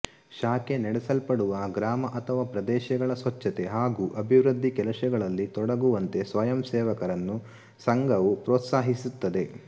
ಶಾಖೆ ನಡೆಸಲ್ಪಡುವ ಗ್ರಾಮ ಅಥವಾ ಪ್ರದೇಶಗಳ ಸ್ವಚ್ಛತೆ ಹಾಗು ಅಭಿವೃದ್ಡಿ ಕೆಲಸಗಳಲ್ಲಿ ತೊಡಗುವಂತೆ ಸ್ವಯಂಸೇವಕರನ್ನು ಸಂಘವು ಪ್ರೋತ್ಸಾಹಿಸುತ್ತದೆ